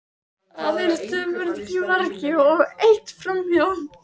Aðeins tvö skot í mark og eitt framhjá.